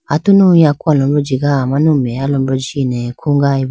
atunu yaku alombro jiga amanu meya alombro jine khugayibo.